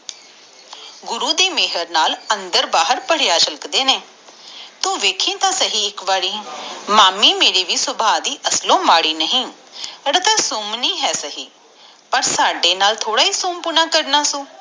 ਗੁਰੂ ਦੀ ਮੇਹਰ ਨਾਲ ਅੰਦਰ ਬਾਹਰ ਭਰਿਆ ਰੱਖਦੇ ਨੇ ਤੂੰ ਵੇਖੀ ਤਾ ਸਹੀ ਮਾਮੀ ਵੀ ਮੇਰੀ ਅਸਲੋਂ ਮਾੜੀ ਨਹੀਂ ਪਰ ਤਝਹੋਰੀ ਸੁਮਣੀ ਆ ਪਰ ਸਾਡੇ ਨਾਲ ਥੋੜ੍ਹਾ ਸਿਉਂ ਪੁਣਾ ਕਰਨਾ ਆ